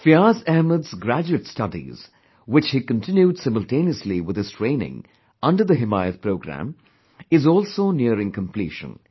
Fiyaz Ahmed's graduate studies, which he continued simultaneously with his training under the 'Himayat Programme', is also nearing completion